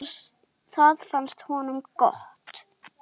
Það fannst honum gott.